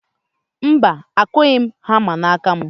Mba, akụghị m hama n'aka m.